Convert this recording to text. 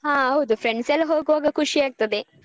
ಹ ಹೌದು friends ಎಲ್ಲಾ ಹೋಗುವಾಗ ಖುಷಿ ಆಗ್ತದೆ.